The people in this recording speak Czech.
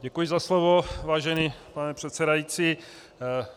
Děkuji za slovo, vážený pane předsedající.